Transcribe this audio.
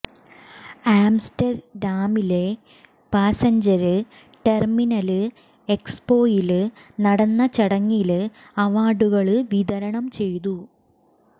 ആംസ്റ്റര്ഡാമിലെ passenger terminal എക്സോപോയില് നടന്ന ചടങ്ങില് അവാര്ഡുകള് വിതരണം ചെയ്തു